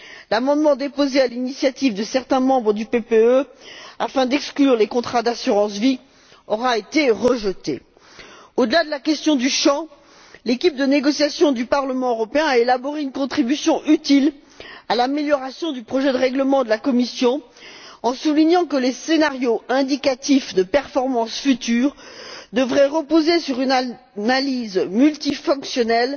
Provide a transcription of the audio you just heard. L'amendement déposé à l'initiative de certains membres du groupe PPE afin d'exclure les contrats d'assurance vie aura été rejeté. Au delà de la question du champ, l'équipe de négociation du Parlement européen a élaboré une contribution utile à l'amélioration du projet de règlement de la Commission, en soulignant que les scénarios indicatifs de performances futures devraient reposer sur une analyse multifactionnelle